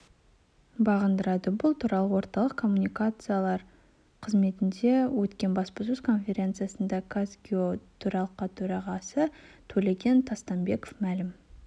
бағындырады бұл туралы орталық коммуникациялар қызметінде өткен баспасөз конференциясында қазгео төралқа төрағасы төлеген тастанбеков мәлім